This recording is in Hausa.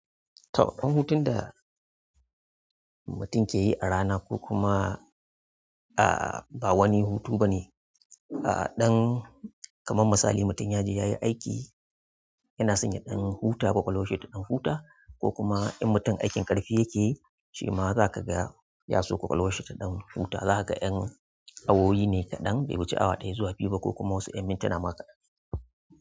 Tawagan hutun da mutum ke yi a rana ko kuma, ah, ba wani hutu ba ne. Ah, ɗan kamar misali mutum ya je ya yi aiki, yana sanya ɗan huta kwakwalwashi ta ɗan huta ko kuma in mutum aikin ƙarfi yake shi ma za ka ga ya so kwakwalwashi ta ɗan huta. Za ka ga 'yan awowi ne kaɗan bai wuce awa ɗaya zuwa biyu ba ko kuma wasu 'yan mintuna ma kaɗan.